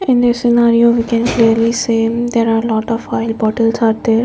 in the scenario we can really see there are lot of oil bottles are there.